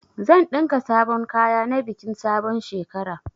Zan ɗinka sabon kaya na bikin sabon shekara.